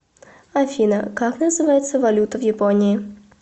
афина как называется валюта в японии